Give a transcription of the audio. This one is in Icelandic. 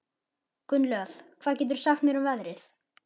Gunnlöð, hvað geturðu sagt mér um veðrið?